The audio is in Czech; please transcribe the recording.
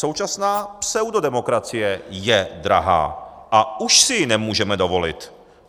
Současná pseudodemokracie je drahá a už si ji nemůžeme dovolit.